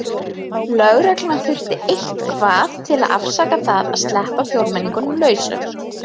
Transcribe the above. Lögreglan þurfti eitthvað til að afsaka það að sleppa fjórmenningunum lausum.